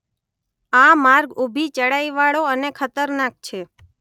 આ માર્ગ ઊભી ચઢાઈ વાળો અને ખતરનાક છે.